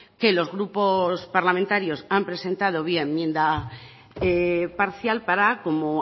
que los grupos parlamentarios han presentado vía enmienda parcial para como